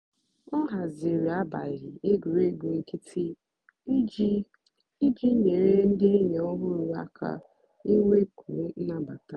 ọ hazìrì àbálị́ ègwùrègwù nkìtì ijì ijì nyèrè ndì ényì ọ̀hụrụ́ àka ìnwékwu nnàbàta.